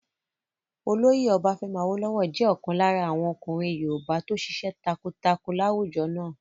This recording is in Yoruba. Olóyè Ọbafẹ́mi Awólówọ̀ jẹ́ ọ̀kan lára àwọn ọkùnrin yoòbá tó ṣiṣẹ́ takuntakun láwùjọ náà